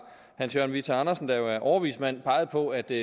hans jørgen whitta jacobsen der jo er overvismand peget på at det